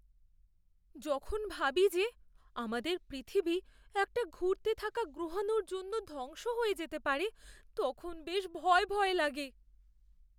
যখন ভাবি যে আমাদের পৃথিবী একটা ঘুরতে থাকা গ্রহাণুর জন্য ধ্বংস হয়ে যেতে পারে, তখন বেশ ভয় ভয় লাগে।